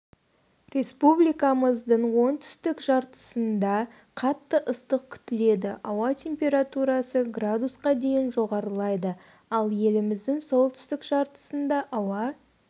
республикамыздың оңтүстік жартысында қатты ыстық күтіледі ауа температурасы градусқа дейін жоғарылайды ал еліміздің солтүстік жартысында ауа